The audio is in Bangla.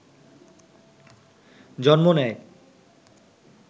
জন্ম নেয়